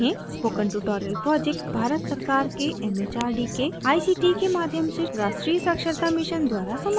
spoken tutorial project Bharat सरकार के M H R D के आई सी टी के माध्यम से राष्ट्रीय साक्षरता mission द्वारा समर्थित है